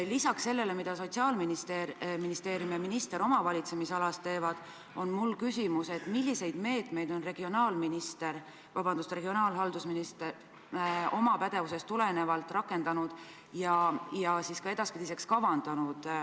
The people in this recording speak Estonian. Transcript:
Lisaks sellele, mida Sotsiaalministeerium ja minister oma valitsemisalas teevad, on mul küsimus selle kohta, milliseid meetmeid on riigihalduse minister oma pädevusest tulenevalt rakendanud ja ka edaspidiseks kavandanud.